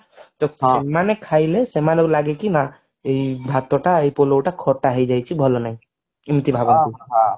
ତ ସେମାନେ ଖାଇଲେ ସେମାନଙ୍କୁ ଲାଗେ କି ନା ଏଇ ଭାତ ଟା ଏଇ ପଲଉଟା ଖଟା ହେଇଯାଇଛି ଭଲନାହିଁ ଏମିତି ଭାବନ୍ତି